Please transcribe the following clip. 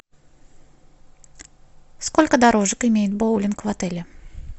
сколько дорожек имеет боулинг в отеле